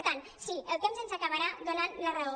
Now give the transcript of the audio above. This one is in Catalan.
per tant sí el temps ens acabarà donant la raó